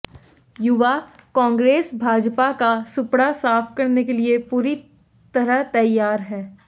युवा कांग्रेस भाजपा का सुपड़ा साफ करने लिए पूरी तरह तैयार है